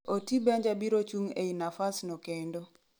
oti benja biro chung ei nafas no kendo